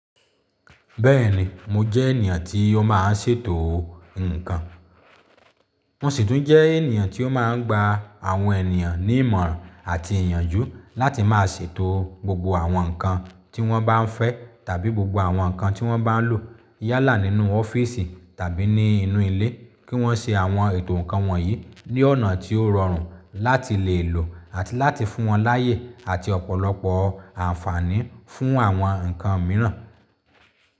Bẹ́ẹ̀ni mo jẹ́ ènìyàn tí ó má a ń ṣètò ǹkan. Mo sì tún jẹ́ ènìyàn tí ó má a ń gba àwọn ènìyàn ní ìmọ̀ràn àti ìyànjú láti má a ṣètò gbogbo àwọn nǹkan tí wọ́n bá ń fẹ́ tàbí gbogbo àwọn nǹkan tí wọ́n bá ń lò yálà nínú ọ́fíìsì tàbí ní inú ilé, kí wọ́n ṣe àwọn ètò nǹkan wọ̀nyí ní ọ̀nà tí ó rọrùn láti lè lò àti láti fún wọn láyè àti ọ̀pọ̀lọpọ̀ àǹfààní fún àwọn nǹkan mìíràn.